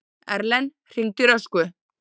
Erlen, hringdu í Röskvu.